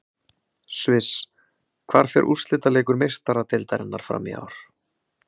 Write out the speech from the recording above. Sviss Hvar fer úrslitaleikur Meistaradeildarinnar fram í ár?